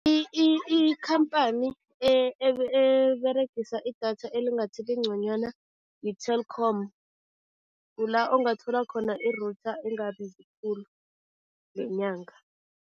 ikhamphani eberegisa idatha elingathi lingconywana yi-Telkom, kula ongathola khona i-router engabizi khulu ngenyanga.